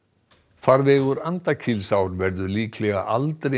farvegur Andakílsár verður líklega aldrei